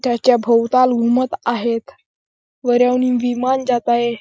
त्याच्या भवताल घुमत आहेत वर याहून विमान जात आहे.